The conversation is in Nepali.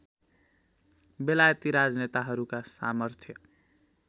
बेलायती राजनेताहरूका सामर्थ्य